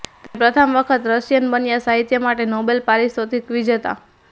તેણે પ્રથમ વખત રશિયન બન્યા સાહિત્ય માટે નોબેલ પારિતોષિક વિજેતા